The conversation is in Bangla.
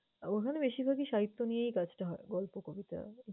ওখানে বেশিরভাগই সাহিত্য নিয়েই কাজটা হয়, গল্প, কবিতা।